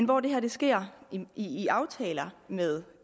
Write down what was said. hvor det her sker i aftaler med